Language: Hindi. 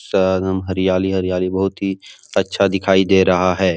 स एकदम हरियाली-हरियाली बहुत ही अच्छा दिखाई दे रहा है।